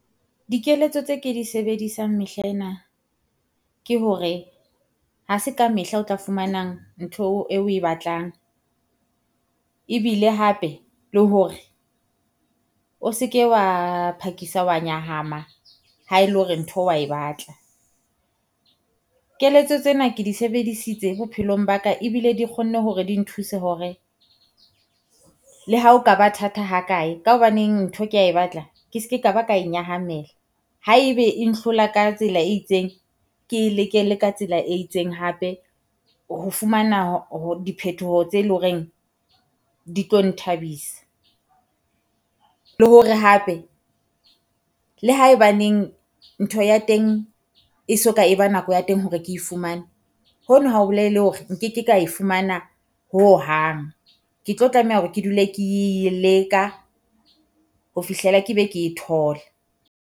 Dikeletso tse ke di sebedisang mehla ena ke hore, ha se ka mehla o tla fumanang ntho eo oe batlang. Ebile hape le hore o se ke wa phakisa wa nyahama ha ele hore ntho wa e batla. Keletso tsena ke di sebedisitse bophelong ba ka, ebile di kgonne hore di nthuse hore la hao ka ba thata ha kae. Ka hobaneng ntho kea e batla ke ske ka ba ka nyahamela. Haebe e nhlolla ka tsela e itseng, ke e leke le ka tsela e itseng hape ho fumana diphethoho tse leng ho reng di tlo nthabisa. Le hore hape le haebaneng ntho ya teng e soka e ba nako ya teng hore ke e fumane, ho no ha o bolele hore nkeke ka e fumana ho hohang. Ke tlo tlameha hore ke dule ke e leka ho fihlela ke be ke e thola.